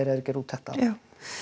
er að gera úttekt á já